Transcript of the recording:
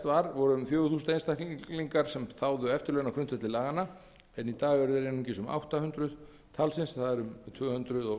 var voru um fjögur þúsund einstaklingar sem þáðu eftirlaun á grundvelli laganna en í dag eru þeir einungis um átta hundruð talsins það er um tvö hundruð